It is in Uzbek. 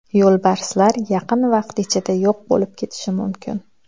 Yo‘lbarslar yaqin vaqt ichida yo‘q bo‘lib ketishi mumkin.